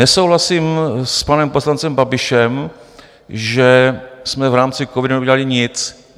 Nesouhlasím s panem poslancem Babišem, že jsme v rámci covidu neudělali nic.